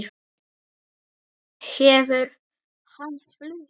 Hefur hann flutt?